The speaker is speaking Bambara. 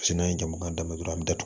n'an ye jamana daminɛ dɔrɔn an bi datugu